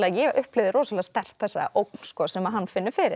ég upplifði rosalega sterkt þessa ógn sem hann finnur fyrir